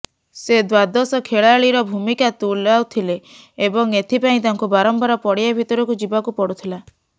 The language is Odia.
ସେ ଦ୍ୱାଦଶ ଖେଳାଳିର ଭୂମିକା ତୁଲାଉଥିଲେ ଏବଂ ଏଥିପାଇଁ ତାଙ୍କୁ ବାରମ୍ବାର ପଡ଼ିଆ ଭିତରକୁ ଯିବାକୁ ପଡ଼ୁଥିଲା